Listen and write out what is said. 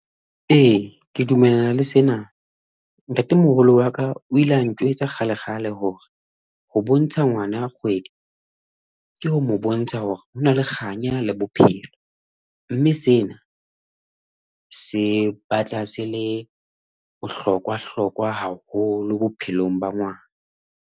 Eya, ke dumellana le sena. Ntate moholo waka o ile a njwetsa kgale kgale hore ho bontsha ngwana kgwedi, ke ho mo bontsha hore ho na le kganya la bophelo mme sena se batla se le bohlokwa hlokwa haholo bophelong ba ngwana.